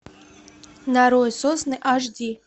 нарой сосны аш ди